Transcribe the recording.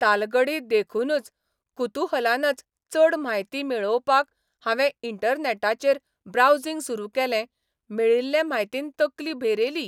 तालगडी देखूनच कुतुहलानच चड म्हायती मेळोवपाक हावें इंटरनॅटाचेर ब्रावसिंग सुरू केलें मेळिल्ले म्हायतीन तकली भेरेली.